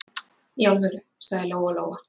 Í alvöru, sagði Lóa-Lóa.